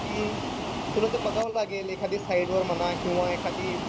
पण तुला ते बघावं लागेल. एखादी साईटवर म्हणा किंवा एखादी